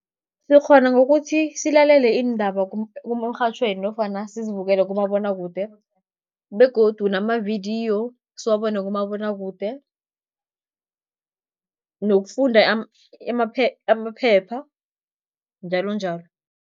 Sikghona ngokuthi silalele iindaba emrhatjhweni nofana sizibukele kumabonwakude begodu namavidiyo siwabone kumabonwakude, nokufunda amaphepha njalonjalo.